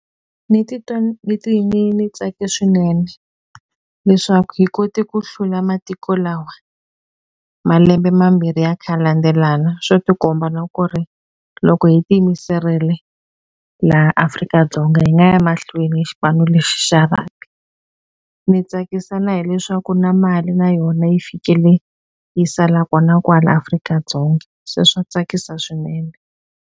Ni titwa ni ni ni tsake swinene leswaku hi kote ku hlula matiko lawa malembe mambirhi ya kha ya landzelana swi ti komba na ku ri loko hi ti yimiserile laha Afrika-Dzonga hi nga ya mahlweni hi xipano lexi xa rugby ni tsakisa na hileswaku na mali na yona yi fikele yi sala kona kwala Afrika-Dzonga se swa tsakisa swinene.